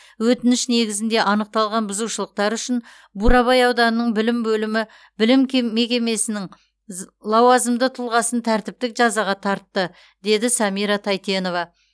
өтініш негізінде анықталған бұзушылықтар үшін бурабай ауданының білім бөлімі білім кем мекемесінің з лауазымды тұлғасын тәртіптік жазаға тартты деді самира тайтенова